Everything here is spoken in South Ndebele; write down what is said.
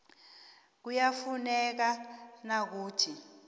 kuyafuneka na ukuthi